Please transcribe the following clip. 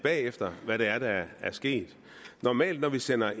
bagefter hvad det er der er sket normalt når vi sender